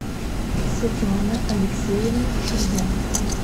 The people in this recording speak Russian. светлана алексеевна шульга